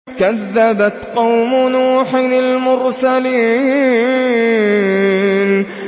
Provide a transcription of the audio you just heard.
كَذَّبَتْ قَوْمُ نُوحٍ الْمُرْسَلِينَ